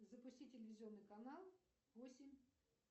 запусти телевизионный канал восемь